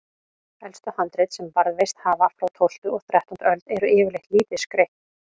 Elstu handrit sem varðveist hafa, frá tólftu og þrettándu öld, eru yfirleitt lítið skreytt.